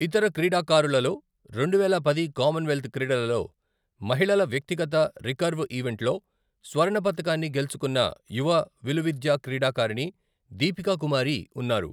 ఇతర క్రీడాకారులలో రెండువేల పది కామన్వెల్త్ క్రీడలలో మహిళల వ్యక్తిగత రికర్వ్ ఈవెంట్లో స్వర్ణ పతకాన్ని గెలుచుకున్న యువ విలువిద్యా క్రీడాకారిణి, దీపికా కుమారి ఉన్నారు.